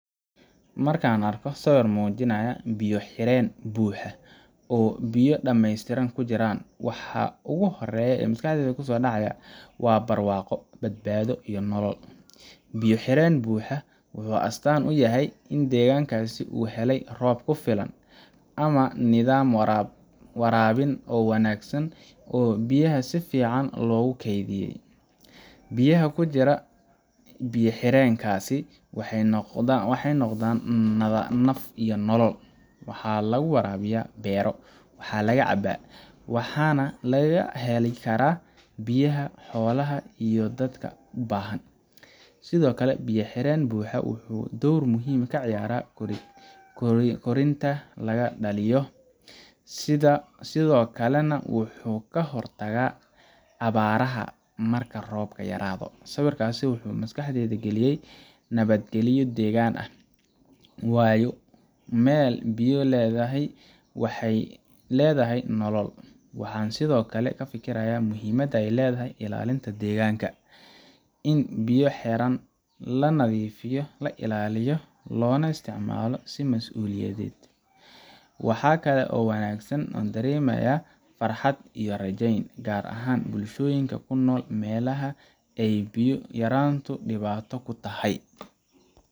Marka aan arko sawir muujinaya biyo xireen buuxa oo biyo dhammaystiran ku jiraan, waxa ugu horreeya ee maskaxdayda ku soo dhacaya waa barwaaqo, badbaado iyo nolol. Biyo xireen buuxa wuxuu astaan u yahay in deegaankaas uu helay roob ku filan ama nidaam waraabin oo wanaagsan oo biyaha si fiican loogu kaydiyay. Biyaha ku jira biyo xireenkaasi waxay noqdaan naf iyo nolol waxaa lagu waraabiyaa beero, waxaa laga cabaa, waxaana laga heli karaa biyaha xoolaha iyo dadka u baahan. Sidoo kale, biyo xireen buuxa wuxuu door muhiim ah ka ciyaaraa korontada laga dhaliyo, sidoo kalena wuxuu ka hortagaa abaaraha marka roobka yaraado. Sawirkaasi wuxuu maskaxdayda galiyay nabadgalyo deegaanka ah, waayo meel biyo leedahay waxay leedahay nolol. Waxaan sidoo kale ka fekerayaa muhiimadda ay leedahay ilaalinta deegaanka in biyo xireen la nadiifiyo, la ilaaliyo, loona isticmaalo si mas’uuliyad Waxaa kale oo aan dareemayaa farxad iyo rajayn, gaar ahaan bulshooyinka ku nool meelaha ay biyo yaraantu dhibaato ku tahay.